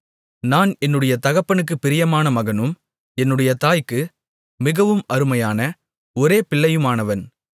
நான் என்னுடைய தகப்பனுக்குப் பிரியமான மகனும் என்னுடைய தாய்க்கு மிகவும் அருமையான ஒரே பிள்ளையுமானவன்